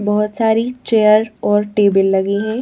बहुत सारी चेयर और टेबल लगी हैं।